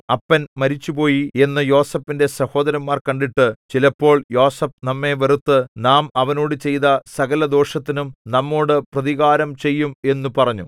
അപ്പൻ മരിച്ചുപോയി എന്നു യോസേഫിന്റെ സഹോദരന്മാർ കണ്ടിട്ട് ചിലപ്പോൾ യോസേഫ് നമ്മെ വെറുത്ത് നാം അവനോട് ചെയ്ത സകലദോഷത്തിനും നമ്മോടു പ്രതികാരംചെയ്യും എന്നു പറഞ്ഞു